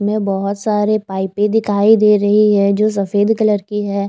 में बहोत सारी पाइपे दिखाई दे रही हैं जो सफेद कलर की हैं।